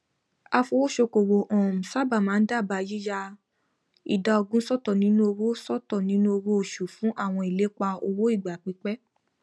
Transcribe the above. afowósókowò um sábà máa n dábàá yíya ìdá ogún sọtọ nínú owó sọtọ nínú owó oṣù fún àwọn ìlépa owó ìgbà pípẹ